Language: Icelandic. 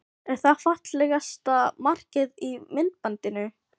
Er það fallegasta markið í myndbandinu?